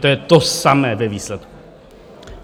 To je to samé ve výsledku.